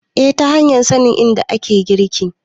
eh ta hanyar sanin inda ake girki